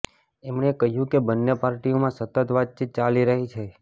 એમણે કહ્યું કે બંને પાર્ટીઓમાં સતત વાતચીત ચાલી રહી છે